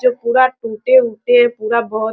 जो पूरा टूटे-उटे है पूरा बोहोत --